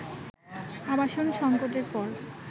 আবাসন সংকটের পর